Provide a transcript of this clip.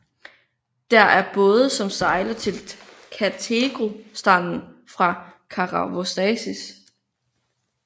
Der er både som sejler til Katergo stranden fra Karavostasis